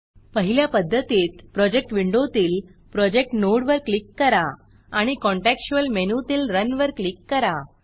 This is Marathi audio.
पहिल्या पध्दतीत प्रोजेक्ट विंडोतील प्रोजेक्ट नोडवर क्लिक करा आणि contextualकॉंटेक्सचुयल मेनूतील रन रन वर क्लिक करा